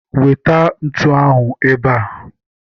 Weta ntu ahụ ebe a!